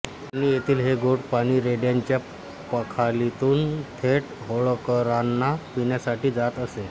आणि येथील हे गोड पाणी रेड्याच्या पखालीतून थेट होळकरांना पिण्यासाठी जात असे